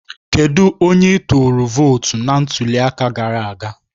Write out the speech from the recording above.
Kedu onye ị tụrụ vootu na ntuli aka gara aga?